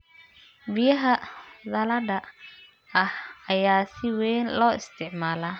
Biyaha dhalada ah ayaa si weyn loo isticmaalaa.